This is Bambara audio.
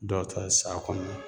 Dɔw ta ye sa kɔnɔ